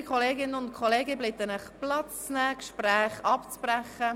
Liebe Kolleginnen und Kollegen, ich bitte Sie, Platz zu nehmen und die Gespräche abzubrechen.